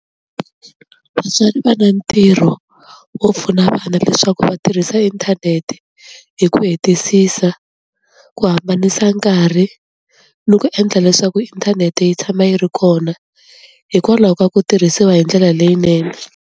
Vatswari va na ntirho wo pfuna vana leswaku va tirhisa inthanete hi ku hetisisa ku hambanisa nkarhi ni ku endla leswaku inthanete yi tshama yi ri kona hikwalaho ka ku tirhisiwa hi ndlela leyinene.